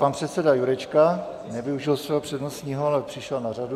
Pan předseda Jurečka nevyužil svého přednostního, ale přišel na řadu.